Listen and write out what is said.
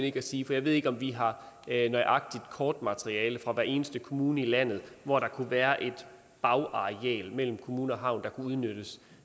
ikke sige for jeg ved ikke om vi har nøjagtigt kortmateriale fra hver eneste kommune i landet hvor der kunne være et bagareal mellem kommune og havn der kunne udnyttes